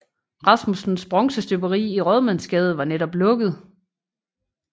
Rasmussens bronzestøberi i Rådmandsgade var netop lukket